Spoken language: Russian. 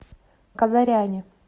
казаряне